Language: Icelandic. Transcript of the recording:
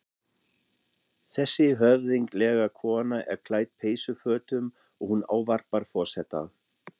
Þessi höfðinglega kona er klædd peysufötum og hún ávarpar forseta.